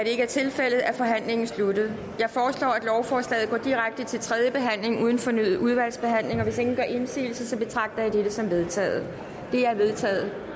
ikke er tilfældet er forhandlingen sluttet jeg foreslår at lovforslaget går direkte til tredje behandling uden fornyet udvalgsbehandling hvis ingen gør indsigelse betragter jeg dette som vedtaget det er vedtaget